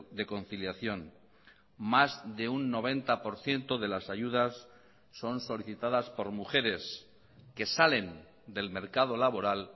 de conciliación más de un noventa por ciento de las ayudas son solicitadas por mujeres que salen del mercado laboral